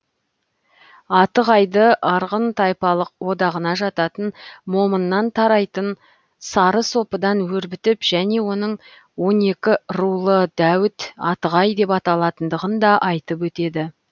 атығайды арғын тайпалық одағына жататын момыннан тарайтын сарысопыдан өрбітіп және оның он екі рулы дәуіт атығай деп аталатындығын да айтып өтеді